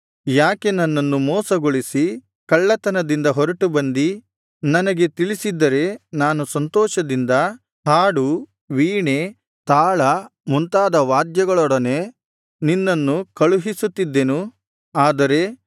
ಯಾಕೆ ನನ್ನನ್ನು ಮೋಸಗೊಳಿಸಿ ಕಳ್ಳತನದಿಂದ ಹೊರಟು ಬಂದಿ ನನಗೆ ತಿಳಿಸಿದ್ದರೆ ನಾನು ಸಂತೋಷದಿಂದ ಹಾಡು ವೀಣೆ ತಾಳ ಮುಂತಾದ ವಾದ್ಯಗಳೊಡನೆ ನಿನ್ನನ್ನು ಕಳುಹಿಸುತ್ತಿದ್ದೆನು